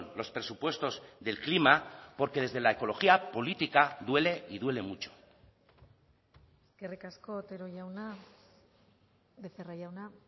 los presupuestos del clima porque desde la ecología política duele y duele mucho eskerrik asko otero jauna becerra jauna